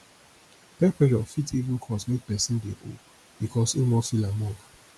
peer pressure fit even cause mek pesin dey owe bikos im wan feel among